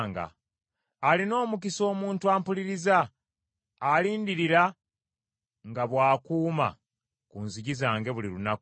Alina omukisa omuntu ampuliriza, alindirira nga bw’akuuma ku nzigi zange buli lunaku.